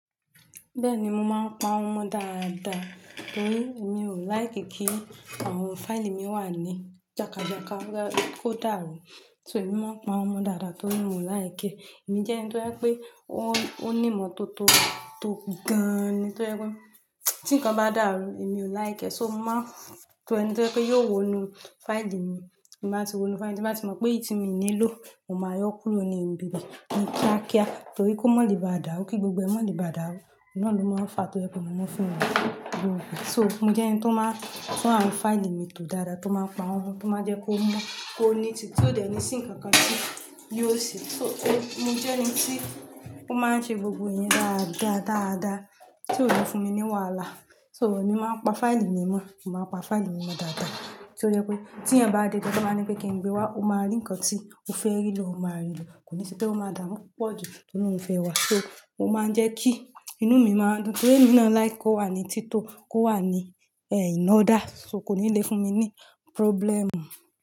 Bẹ́ẹ̀ni, mo máa ń pa wọ́n mọ dáadáa. Torí mi ò like kí àwọn fáìlì mi wà ní jákajàka kó dàrú. So èmi máa ń pàwọ́n mọ́ dáadáa torí mi ò like ẹ. Èmi jẹ́ ẹni tó ẹ pé o, ó ní ìmọ́tótó tó gan-an ni tó ẹ pé tí ǹkan bá dàrú mi ò like ẹ, so mo máa ń tò ẹni tó ẹ pé yóò wo inú fáìlì mi tí n bá ti wo inú fáìlì mi, tí n bá ti mọ̀ pé èyí tí mi nílò, mo máa yọ kúrò ní ibi bẹ̀ ni kíákíá torí kó mọ́ lè bá dàrú kí gbogbo ẹ̀ mọ́ lè bá dàrú. Òó náà ló máa fàá tó ẹ pé mo mọ fún ẹni tó wù mí. So mo jẹ́ ẹni tó máa tún àwọn fáìlì mi tò dára, tó máa pa wọ́nmọ, tó máa ń jẹ́ kó mọ kó neat tì o dẹ̀ ní sí ǹkan kan tí yóò ṣe. So mo jẹ́ ẹni tí ó máa ń ṣe gbogbo ẹ̀yín dáadáa, dáadáa tí ó lè fún mi ní wàhálà. So èmi máa ń pa fáìlì mi mọ́, mò máa pa fáìlì mi mọ́ dáadáa tí ó jẹ́ pé tí yan bá dé gan tọ bá ni pé kí n gbé wá, o máa rí ǹkan tí o fẹ́ rí ló o máa rí ló. Kò ní ṣe pé o máa dàmú púpọ̀ ju torí òun fẹ́ wá. So mo máa ń jẹ́ kí inú mi máa dùn torí èmi náà like kó wà ní tìtọ́, kó wà ní in order. So kò ní lè fún mi ní problem.